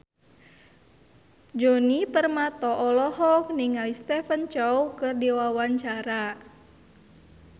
Djoni Permato olohok ningali Stephen Chow keur diwawancara